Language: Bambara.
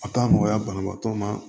A ka nɔgɔya banabaatɔ ma